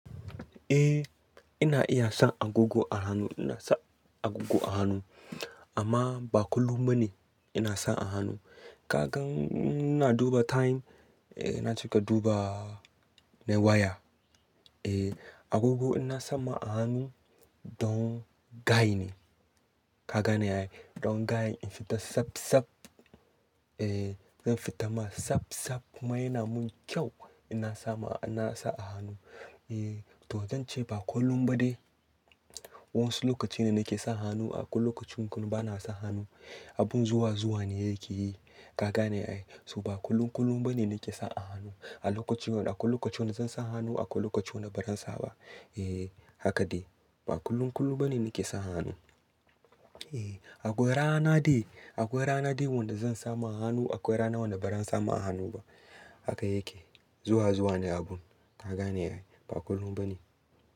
Eh ina iya sa agogo a hannu, ina sa agogo a hannu amma ba kullum bane ina sa a hannu. Kaga inna duba time, eh na cika duba na waya. Eh agogo ina sama a hannu don gayu ne. Ka gane ayy? Don gaya in fita saf saf. Eh zan fita ma saf saf mana yana mun kyau ina sama, ina sa a hannu. Eh to zan ce ba kullum ba de. Wasu lokaci ne nake sa hannu akwai lokacin kuma bana sa hannu. Abin zuwa zuwa ne yake yi. Ka gane ayy. So ba kullum kullum bane nake sa a hannu. Akwai lokaci, akwai lokaci wanda zan sa hannu, akwai lokacin wanda ba zan sa ba. Eh haka de ba kullum kullum bane nake sa hannu. Eh akwai rana dai, akwai rana dai wanda zan sama hannu, akwai rana wanda ba zan sama a hannu ba. Haka yake. Zuwa zuwa ne abun. Ka gane ayy ba kullum bane.